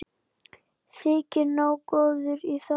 Þyki nógu góður í það.